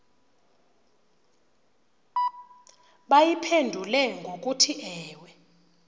bayiphendule ngokuthi ewe